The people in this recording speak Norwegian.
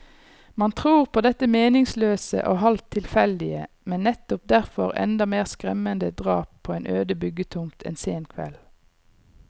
Man tror på dette meningsløse og halvt tilfeldige, men nettopp derfor enda mer skremmende drap på en øde byggetomt en sen kveld.